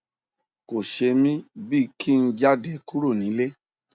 kò ṣe mí bí i kí n jáde kúrò nílè